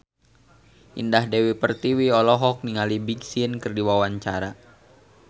Indah Dewi Pertiwi olohok ningali Big Sean keur diwawancara